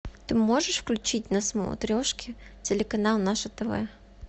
ты можешь включить на смотрешке телеканал наше тв